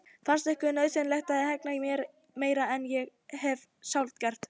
Fannst ykkur nauðsynlegt að hegna mér meira en ég hef sjálf gert?